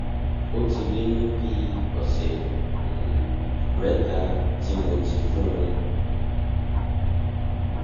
ó ti lé ní bi lé ní bi ọsẹ um mẹta tí mo ti fún um un